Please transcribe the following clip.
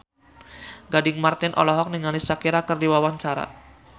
Gading Marten olohok ningali Shakira keur diwawancara